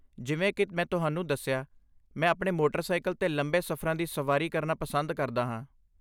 ਜਿਵੇਂ ਕਿ ਮੈਂ ਤੁਹਾਨੂੰ ਦੱਸਿਆ, ਮੈਂ ਆਪਣੇ ਮੋਟਰਸਾਈਕਲ 'ਤੇ ਲੰਬੇ ਸਫ਼ਰਾਂ ਦੀ ਸਵਾਰੀ ਕਰਨਾ ਪਸੰਦ ਕਰਦਾ ਹਾਂ।